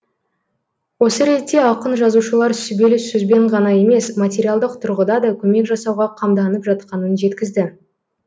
осы ретте ақын жазушылар сүбелі сөзбен ғана емес материалдық тұрғыда да көмек жасауға қамданып жатқанын жеткізді